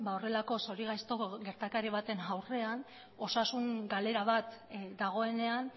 horrelako zorigaiztoko gertakari baten aurrean osasun galera bat dagoenean